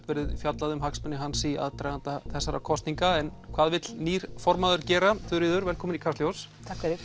verið fjallað um hagsmuni hans í aðdraganda þessara kosninga en hvað vill nýr formaður gera Þuríður velkomin í Kastljós